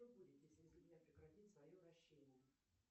что будет если земля прекратит свое вращение